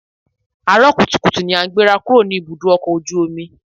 Àárọ̀ kùtùkùtù ni a gbéra kúrò ní ibùdó ọkọ̀ ojú omi